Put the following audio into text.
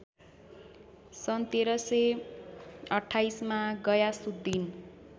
सन् १३२८ मा गयासुद्धिन